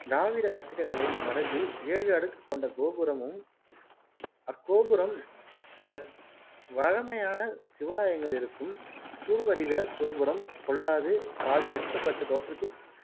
திராவிடக் கட்டிடக்கலை மரபில் ஏழு அடுக்குக் கொண்ட கோபுரமும், அக்கோபுரம் வ வழமையான சிவாலயங்கள் இருக்கும் கூர்வடிவக் கோபுரம் பொல்லாது பாதி நிற்கப்பட்ட தோற்றத்தில்